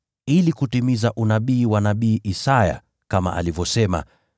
ili kutimiza unabii wa nabii Isaya, kama alivyosema: